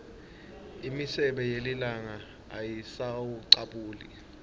imisebe yelilanga ayisawucabuli